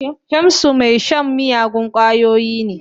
Shamsu mai shan miyagun kwayoyi ne.